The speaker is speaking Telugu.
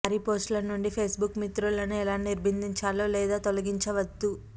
వారి పోస్ట్ ల నుండి ఫేస్బుక్ మిత్రులను ఎలా నిరోధించాలో లేదా తొలగించవద్దు